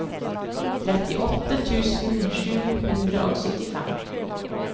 trettiåtte tusen sju hundre og syttifem